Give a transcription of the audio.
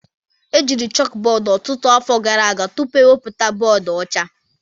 Ejiri chalkboard ọtụtụ afọ gara aga tupu iwebata bọọdụ ọcha